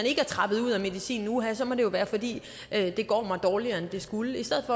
ikke er trappet ud af medicinen at uha så må det være fordi det går dårligere end det skulle i stedet